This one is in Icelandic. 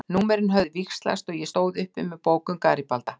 Númerin höfðu víxlast og ég stóð uppi með bók um Garibalda.